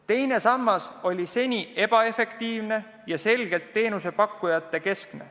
Teine sammas on seni olnud ebaefektiivne ja selgelt teenusepakkujatekeskne.